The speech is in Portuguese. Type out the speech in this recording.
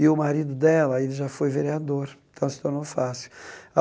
E o marido dela, ele já foi vereador, então se tornou fácil.